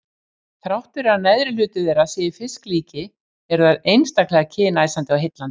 Þrátt fyrir að neðri hluti þeirra sé í fisklíki eru þær einstaklega kynæsandi og heillandi.